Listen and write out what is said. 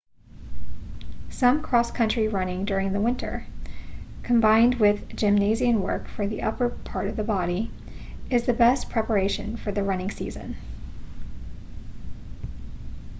some cross country running during the winter combined with gymnasium work for the upper part of the body is the best preparation for the running season